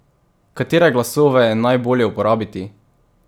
Katere glasove je najbolje uporabiti?